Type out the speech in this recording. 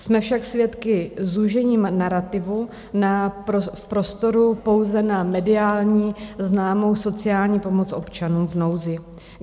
Jsme však svědky zúžení narativu v prostoru pouze na mediální známou sociální pomoc občanům v nouzi.